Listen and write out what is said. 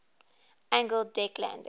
angled deck landing